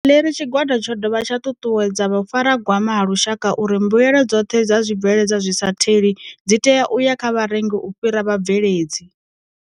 Maḽeri Tshigwada tsho dovha tsha ṱuṱuwedza Vhufaragwama ha Lushaka uri mbuelo dzoṱhe dza zwibveledzwa zwi sa the li dzi tea u ya kha vharengi u fhira vhabveledzi.